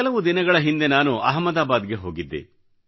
ಕೆಲವು ದಿನಗಳ ಹಿಂದೆ ನಾನು ಅಹಮದಾಬಾದ್ ಗೆ ಹೋಗಿದ್ದೆ